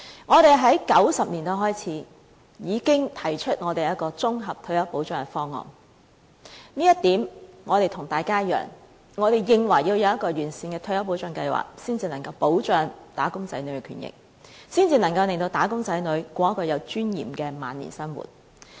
我們在1990年代開始已經提出綜合退休保障的方案，這點我們跟大家一樣，我們認為要制訂完善的退休保障計劃才能保障"打工仔女"的權益，才能令"打工仔女"度過有尊嚴的晚年生活。